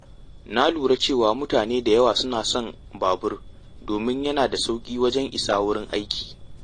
Na lura cewa mutane da yawa suna son babur domin yana da sauƙi wajen isa wurin aiki.